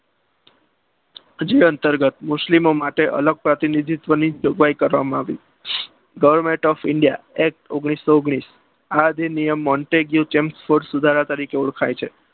જે અંતર્ગત મુસ્લિમો માટે અલગ પ્રતિનિધિત્વની જોગવાઈ કરવામાં આવી government of india act ઓગણીસો ઓગણીસ આ અધિનિયમ ચીલ સુધારા તરીકે ઓળખાય છે.